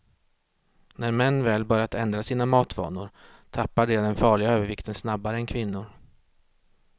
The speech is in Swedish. När män väl börjat ändra sina matvanor, tappar de den farliga övervikten snabbare än kvinnor.